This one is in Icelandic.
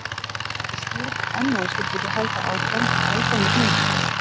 En ég skil ekki enn að þú skyldir ekki halda áfram að æpa með hinum.